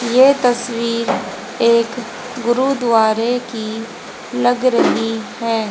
ये तस्वीर एक गुरुद्वारे की लग रही है।